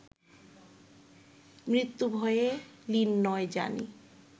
মৃত্যু-ভয়ে লীণ নয় জানি